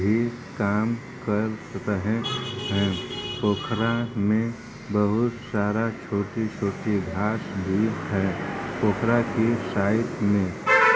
ये काम कर रहे हैं। पोखरा में बहुत सारा छोटे-छोटे हाथ भी है। पोखरा के साइड में --